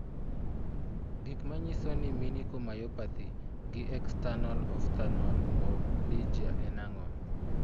Gik manyiso ni Minicore myopathy gi external ophthalmoplegia en ang'o?